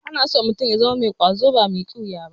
Ana so mutum ya zama mai ƙwazo ba mai ƙiwiya ba.